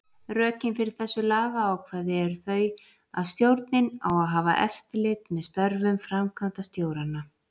Rökin fyrir þessu lagaákvæði eru þau að stjórnin á að hafa eftirlit með störfum framkvæmdastjóranna.